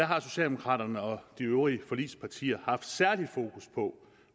har socialdemokraterne og de øvrige forligspartier haft særlig fokus på